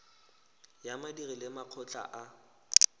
ya badiri le makgotla a